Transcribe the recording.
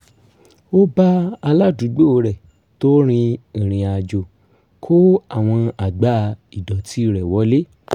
ó bá aládùúgbò rẹ̀ tó rin ìrìnàjò kó àwọn àgbá ìdọ̀tí rẹ̀ wọlé